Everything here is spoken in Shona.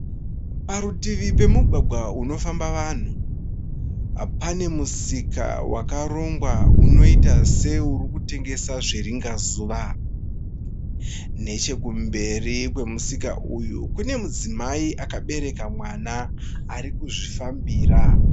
Parutivi pemugwagwa unofamba vanhu, pane musika wakarongwa unoita seurikutengesa zviringazuva, nechekumberi kwemusika uyu kune mudzimai akabereka mwana arikuzvifambira.